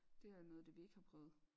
Det er jo noget af det vi ikke har prøvet